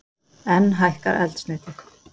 Enn hækkar eldsneytið